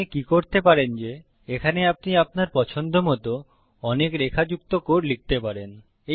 আপনি কি করতে পারেন যে এখানে আপনি আপনার পছন্দমত অনেক রেখা যুক্ত কোড লিখতে পারেন